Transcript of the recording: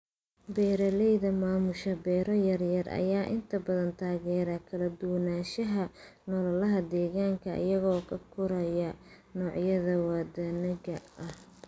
Beeralayda maamusha beero yaryar ayaa inta badan taageera kala duwanaanshaha noolaha deegaanka iyaga oo koraya noocyada wadaniga ah.